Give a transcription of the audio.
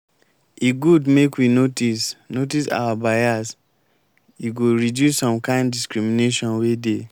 e good make we notice notice our bias e go reduce some kind discrimination wey dey.